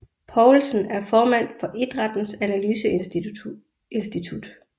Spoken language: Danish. Poulsen er formand for Idrættens Analyseinstitut